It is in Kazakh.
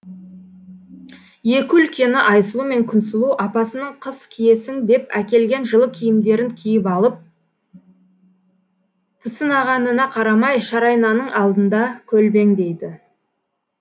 екі үлкені айсұлу мен күнсұлу апасының қыс киесің деп әкелген жылы киімдерін киіп алып пысынағанына карамай шарайнаның алдында көлбеңдейді